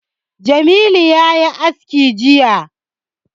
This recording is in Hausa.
Jamilu ya yi aski jiya